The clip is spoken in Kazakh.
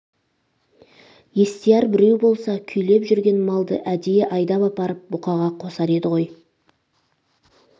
естияр біреу болса күйлеп жүрген малды әдейі айдап апарып бұқаға қосар еді ғой